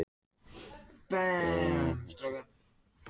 Kristján Már Unnarsson: En olíuvinnsla?